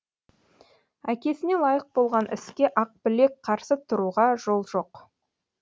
әкесіне лайық болған іске ақбілек қарсы тұруға жол жоқ